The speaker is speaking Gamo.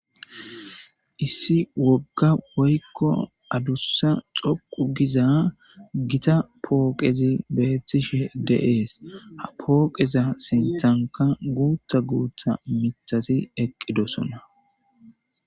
Issi wogga woykko adussa xoqu giza gita pooqezi beethtishe deees ha pooqeza sintanka guutha guutha mitasi eqqidosona.